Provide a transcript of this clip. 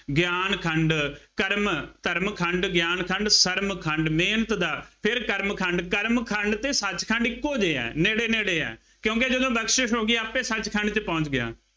ਗਿਆਨ ਖੰੰਡ, ਕਰਮ, ਧਰਮ ਖੰਡ, ਗਿਆਨ ਖੰਡ, ਸਰਮ ਖੰਡ, ਮਿਹਨਤ ਦਾ, ਫੇਰ ਕਰਮ ਖੰਡ, ਕਰਮ ਖੰਡ ਅਤੇ ਸੱਚ ਖੰਡ ਇੱਕੋ ਜਿਹੇ ਆ, ਨੇੜੇ ਨੇੜੇ ਆ, ਕਿਉਂਕਿ ਜਦੋਂ ਬਖਸ਼ਿਸ਼ ਹੋ ਗਈ ਆਪੇ ਸੱਚ ਖੰਡ ਚ ਪਹੁੰਚ ਗਿਆ।